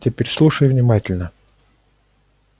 теперь слушай внимательно